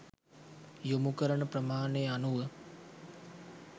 යොමු කරන ප්‍රමාණය අනුව